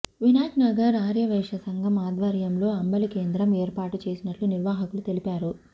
వినాయక్నగర్ ఆర్యవైశ్య సంఘం ఆద్వర్యంలో అంబలి కేంద్రం ఏర్పాటు చేసినట్టు నిర్వాహకులు తెలిపారు